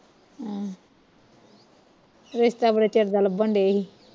ਆਹ ਰਿਸ਼ਤਾ ਬੜੇ ਚਿਰ ਦਾ ਲੱਭਣ ਦਏ ਹੀ